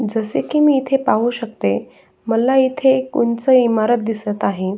जसे की मी इथे पाहू शकते मला इथे एक उंच इमारत दिसत आहे.